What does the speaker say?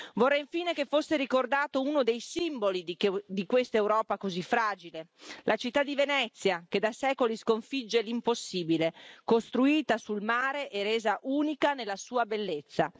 Vorrei infine che fosse ricordato uno dei simboli di quest'Europa così fragile, la città di Venezia, che da secoli sconfigge l'impossibile costruita sul mare e resa unica nella sua bellezza.